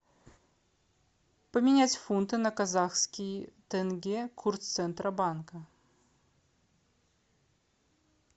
поменять фунты на казахские тенге курс центробанка